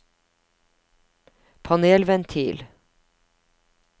panelventil